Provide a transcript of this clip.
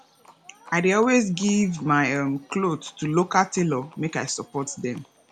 i dey always give my um cloth to local tailor make i support them